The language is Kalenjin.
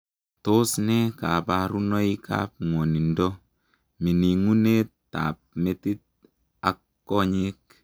Tos ne kabarunoik ap nwogindoo ,mininguneet ap metiit ak konyeek